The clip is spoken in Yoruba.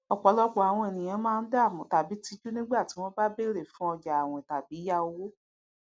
ọpọlọpọ àwon èniyàn máa dààmú tàbí tíjú nígbà tí wọn bá bèrè fún ọjà áwìn tàbí yá owó